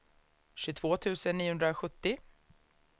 tjugotvå tusen niohundrasjuttio